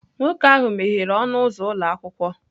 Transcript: Nwoke ahụ meghere ọnụ ụzọ ụlọ akwụkwọ